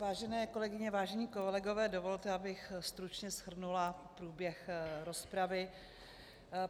Vážené kolegyně, vážení kolegové, dovolte, abych stručně shrnula průběh rozpravy.